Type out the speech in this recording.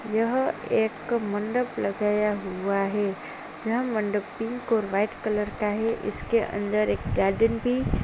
यहाँ एक मंडप लगाया हुआ हैं। यह मंडप पिंक और व्हाइट कलर का हैं। इसके अंदर एक गार्डन भी --